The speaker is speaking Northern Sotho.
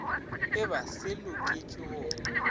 e ba se loketšwe go